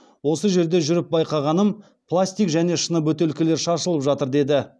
осы жерде жүріп байқағаным пластик және шыны бөтелкелер шашылып жатыр деді